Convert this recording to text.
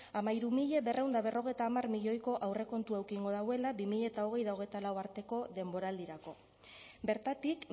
hamairu mila berrehun eta berrogeita hamar milioiko aurrekontua eduki egingo duela bi mila hogei eta hogeita lau arteko denboraldirako bertatik